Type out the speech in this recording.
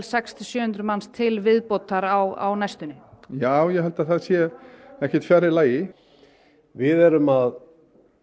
sex til sjö hundruð manns til viðbótar á næstunni já ég held að það sé ekkert fjarri lagi við erum að